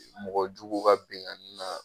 Mɔgɔjugu ka binkanni na.